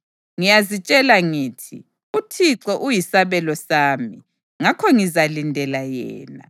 Ngiyazitshela ngithi, “ UThixo uyisabelo sami; ngakho ngizalindela yena.”